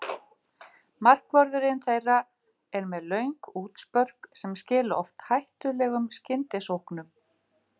Markvörðurinn þeirra er með löng útspörk sem skila oft hættulegum skyndisóknum.